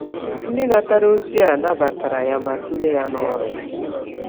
Ndị natara ozi a nabatara ya ma tinye ya n’ọrụ.